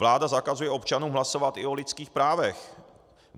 Vláda zakazuje občanům hlasovat i o lidských právech.